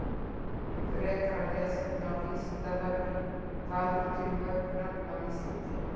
Frekara lesefni á Vísindavefnum Hvað eru til mörg nöfn á Íslandi?